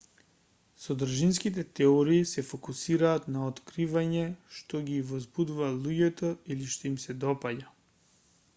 содржинските теории се фокусираат на откривање што ги возбудува луѓето или што им се допаѓа